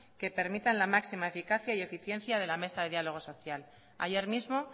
que permitan la máxima eficacia y eficiencia de la mesa de diálogo social ayer mismo